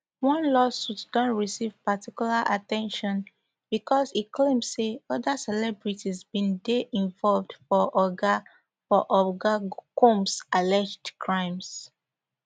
one lawsuit don receive particular at ten tion becos e claim say oda celebrities bin dey involved for oga for oga combs alleged crimes